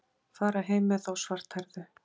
Fara heim með þá svarthærðu.